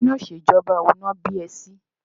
Inú ìṣèjọba wo ni wọ́n bí ẹ sí?